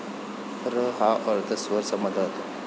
रहा अर्धस्वर समजला जातो.